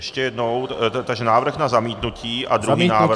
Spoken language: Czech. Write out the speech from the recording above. Ještě jednou, takže návrh na zamítnutí a druhý návrh...